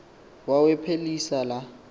wawa phelisa la